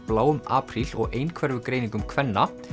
bláum apríl og einhverfugreiningum kvenna